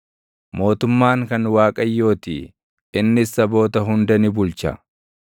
mootummaan kan Waaqayyootii; innis saboota hunda ni bulcha.